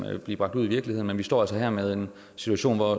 blive bragt ud i virkeligheden men vi står altså her med en situation hvor